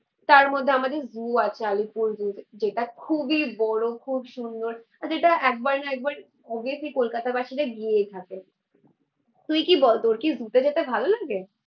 তারমধ্যে আমাদের জু আছে আলিপুর জু, যেটা খুবই বড়ো খুব সুন্দর। আর যেটা একবার না একবার অভিয়াসলি কোলকাতাবাসীরা গিয়েই থাকে। তুই কি বল তোর কি জু তে যেতে ভালো লাগে?